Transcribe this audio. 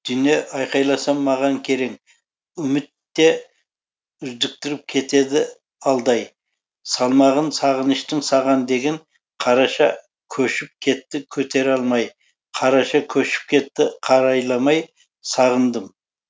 дүние айқайласам маған керең үміт те үздіктіріп кетеді алдай салмағын сағыныштың саған деген қараша көшіп кетті көтере алмай қараша көшіп кетті қарайламай сағындым